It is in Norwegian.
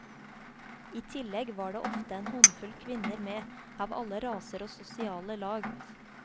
I tillegg var det ofte en håndfull kvinner med, av alle raser og sosiale lag.